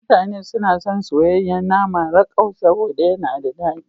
Mutane suna son soyayyen nama rakau saboda yana da dadi.